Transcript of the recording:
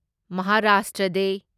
Maharashtra ꯗꯦ